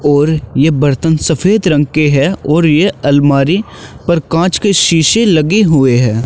और ये बर्तन सफेद रंग के है और ये अलमारी पर कांच के शीशे लगे हुए हैं।